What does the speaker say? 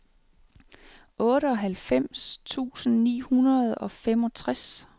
otteoghalvfems tusind ni hundrede og femogtres